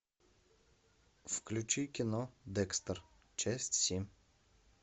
включи кино декстер часть семь